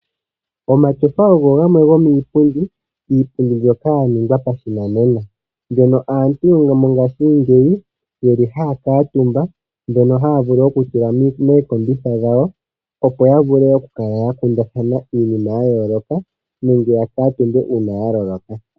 Omatyofa ogo gamwe gomiipundi, iipundi mbyoka ya ningwa pashinanena. Mbyono aantu mongashingeyi yeli haa kuutumba, mbyono haa vulu okutula mookombitha dhawo, opo ya vule okukala ya kundathana iinima ya yooloka, nenge ya kuutumbe uuna ya loloka.